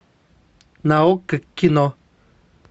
на окко кино